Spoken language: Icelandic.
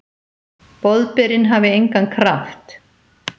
Boðberinn hafi engan kraft?